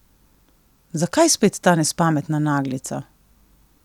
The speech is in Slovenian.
Zakaj spet ta nespametna naglica?